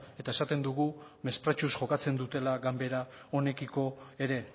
eta esaten dugu mespretxuz jokatzen dutela ganbara honekiko ere